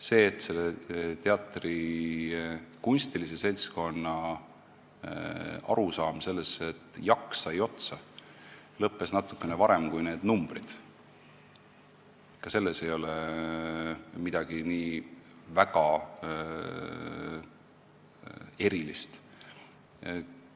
Selles, et selle teatri kunstilisel seltskonnal tekkis arusaam, et jaks sai otsa natukene varem, kui lõppesid need numbrid, ei ole midagi nii väga erilist.